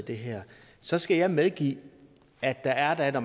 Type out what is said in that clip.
i det her så skal jeg medgive at at når